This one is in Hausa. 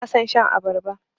Bana son shan abarba.